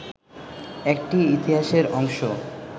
একটি ইতিহাসের অংশ